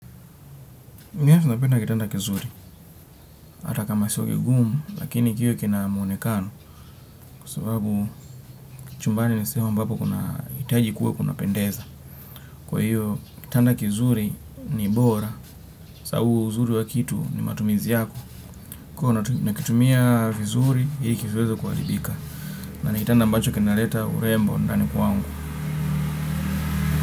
Yes napenda kitanda kizuri, hata kama sio kigumu, lakini kiwe kina muonekano, kwa sababu chumbani ni sehemu ambapo kuna itaji kuwe kunapendeza. Kwa hiyo, kitanda kizuri ni bora, saabu uzuri wa kitu ni matumizi yako. Kwa nakitumia vizuri, ili kisiweze kuaribika. Na ni kitanda mbacho kinaleta urembo ndani kwangu.